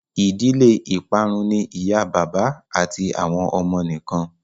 ìdílé iparun ní ìyá bàbá àti àwọn ọmọ nìkàn